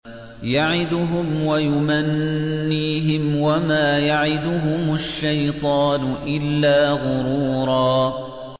يَعِدُهُمْ وَيُمَنِّيهِمْ ۖ وَمَا يَعِدُهُمُ الشَّيْطَانُ إِلَّا غُرُورًا